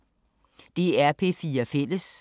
DR P4 Fælles